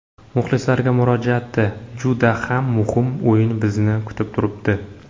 Muxlislarga murojaati Juda ham muhim o‘yin bizni kutib turibdi.